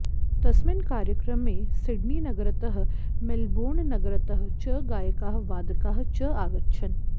तस्मिन् कार्यक्रमे सिडनीनगरतः मेल्बोर्ननगरतः च गायकाः वादकाः च आगच्छन्